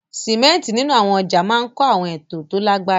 Símẹ́ńtì nínú àwọn ọjà máa ń kọ́ àwọn ètò tó lágbára.